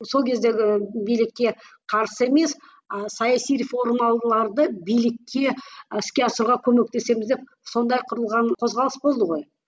сол кездегі билікке қарсы емес а саяси реформаларды билікке іске асыруға көмектесеміз деп сондай құрылған қозғалыс болды ғой